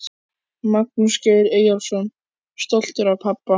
Magnús Geir Eyjólfsson: Stoltur af pabba?